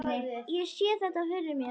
Ég sé þetta fyrir mér.